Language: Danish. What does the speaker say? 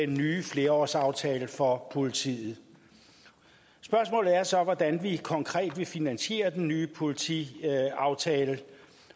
den nye flerårsaftale for politiet spørgsmålet er så hvordan vi konkret vil finansiere den nye politiaftale